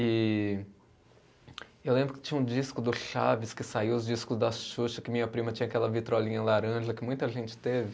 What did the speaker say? E eu lembro que tinha um disco do Chaves, que saiu os discos da Xuxa, que minha prima tinha aquela vitrolinha laranja, que muita gente teve.